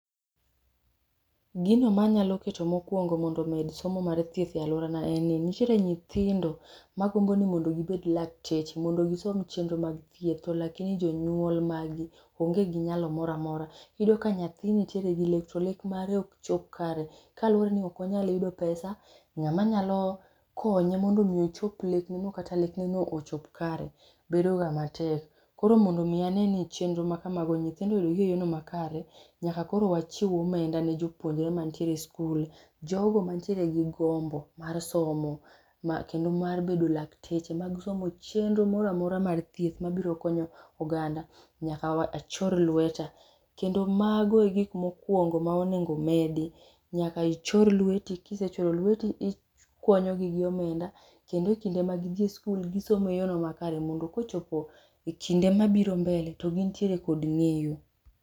Gino manyalo keto mokuongo mondo omed somo mar thieth e aluorana en ni nitiere nyithindo magombo ni mondo mi gibed lakteche mondo gisom chenro mag thieth lakini jonyuol mag gi onge gi nyalo moro amora. Iyudo ka nyathi nitiere gi lek to lek mare ok chop kare kaluore ni ok wanyal yudo pesa, ng'ama nyalo konye mondo mi ochop lekne no kata lekne no ochop kare bedo ga matek. Koro mondo mi aneni chenro makamago nyithindo oyudogi eyono makare, nyaka koro wachiw omenda ne jopuonjre mantiere e skul, jogo mantiere gi gombo mar somo kendo mar bedo lakteche mag somo chenro moro amora mar thieth mabiro konyo oganda nyaka achor lweta. Kendo mago e gik mokuongo manyaka omedi. Nyaka ichor lweti ka isechoro lweti ikwanyo gi gi omend akendo e kinde ma gidhi skul gisomo e yono makare mondo kochopo kinde mabiro mbele gintiere kod nengo